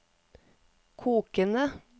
kokende